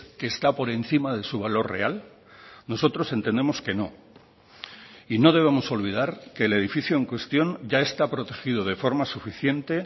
que está por encima de su valor real nosotros entendemos que no y no debemos olvidar que el edificio en cuestión ya está protegido de forma suficiente